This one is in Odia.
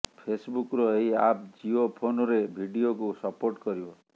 ଫେସବୁକ୍ର ଏହି ଆପ୍ ଜିଓ ଫୋନ୍ରେ ଭିଡିଓକୁ ସପୋର୍ଟ କରିବ